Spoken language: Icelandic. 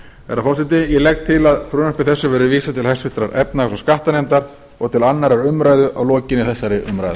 herra forseti ég legg til að frumvarpi þessu verði vísað til háttvirtrar efnahags og skattanefndar og til annarrar umræðu að lokinni þessari umræðu